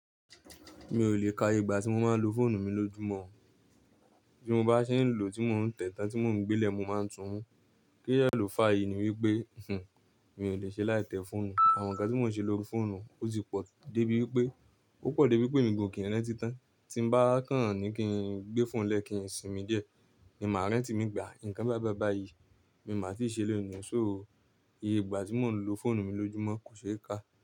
Mi ò lè ka igba tí mo máa ń lo fóònù mi lójúmọ́, bí mo bá ṣe ń lò ó, tí mò ń tẹ tan tí mò ń gbe lẹ, mo máa ń tú un. Kí ìyẹ̀lò fàyè ni wípé mi ò lè ṣe láì tẹ fóònù. Àwọn ǹkan tí mò ń ṣe lórí fóònù ó ti pọ̀ débi wípé, ó pọ̀ débi wípé mi gbọ kín ń rántí tán. Tí mo bá kàn án ní kí n gbé fóònù lẹ́ kín sì mí díẹ̀, ni màá rántí mi gbà. Ǹkan bá bá bàá yìí, mi màá ti ṣe leni. So ó, iye igba tí mò ń lo fóònù mi lójúmọ́ kò ṣe é ká.